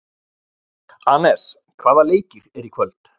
Anes, hvaða leikir eru í kvöld?